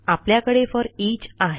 आपल्याकडे फोरिच आहे